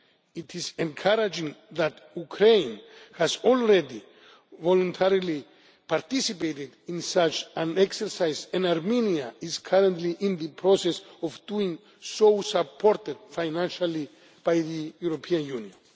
It is encouraging that Ukraine has already voluntarily participated in such an exercise and Armenia is currently in the process of doing so, supported financially by the European Union.